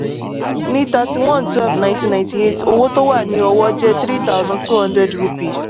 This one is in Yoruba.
ní thirty-one twelve nineteen ninety-eight owó tó wà ní ọwọ́ jẹ́ three thousand two hundred rupees